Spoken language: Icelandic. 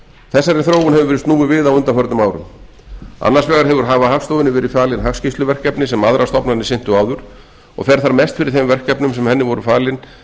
þróun hefur verið snúið við á undanförnum árum annars vegar hafa hagstofunni verið falin hagskýrsluverkefni sem aðrar stofnanir sinntu áður og fer þar mest fyrir þeim verkefnum sem henni voru falin